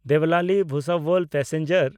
ᱫᱮᱵᱞᱟᱞᱤ-ᱵᱷᱩᱥᱟᱵᱚᱞ passenger